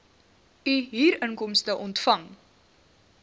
u huurinkomste ontvang